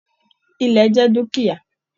Ilẹ́ jẹ dukia.